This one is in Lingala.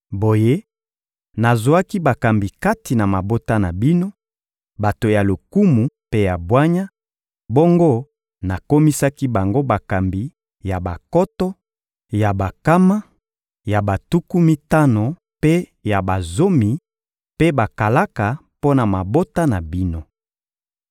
Boye, nazwaki bakambi kati na mabota na bino, bato ya lokumu mpe ya bwanya, bongo nakomisaki bango bakambi ya bankoto, ya bankama, ya batuku mitano mpe ya bazomi, mpe bakalaka mpo na mabota na bino.